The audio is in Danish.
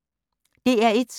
DR1